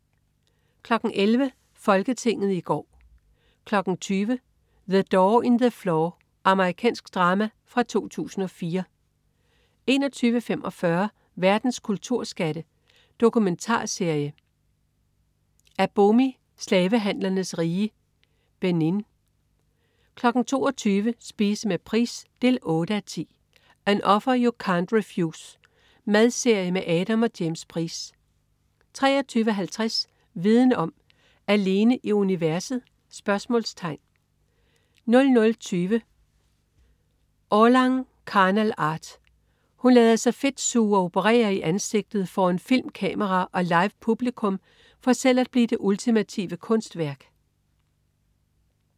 11.00 Folketinget i går 20.00 The Door in the Floor. Amerikansk drama fra 2004 21.45 Verdens kulturskatte. Dokumentarserie. Abomey, slavehandlernes rige, Benin 22.00 Spise med Price 8:10. "An Offer you can't Refuse". Madserie med Adam og James Price 23.50 Viden om: Alene i universet?* 00.20 Orlan, Carnal Art. Hun lader sig fedtsuge og operere i ansigtet foran filmkamera og livepublikum for selv at blive det ultimative kunstværk